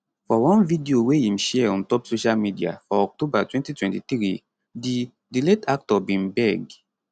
for one video wey im share on top social media for october 2023 di di late actor bin beg